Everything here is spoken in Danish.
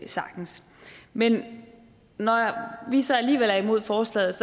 sagtens men når vi så alligevel er imod forslaget